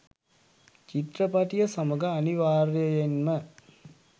චිත්‍රපටිය සමඟ අනිවාර්යයෙන්ම